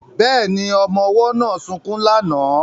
Bẹ́ẹ̀ni, ọmọ ọwọ́ náà sunkún lánàá